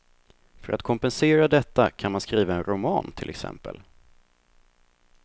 För att kompensera detta kan man skriva en roman, till exempel.